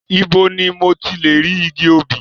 Ibo ni mo tilè rí igi obì?